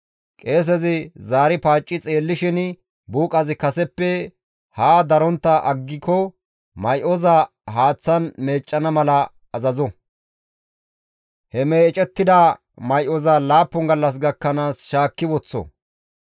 «Qeesezi zaari paacci xeellishin buuqazi kaseppe ha darontta aggiko may7oza haaththan meeccana mala azazo; he meecettida may7oza laappun gallas gakkanaas shaakki woththo.